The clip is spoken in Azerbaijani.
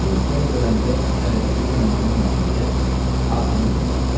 Hazırlıq işləri görəndə çərənciliklə mane olmasın deyə ağzını yummuşdular.